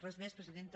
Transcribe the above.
res més presidenta